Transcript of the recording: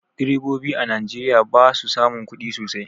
Direbobi a Najeriya ba su samun kudi sosai.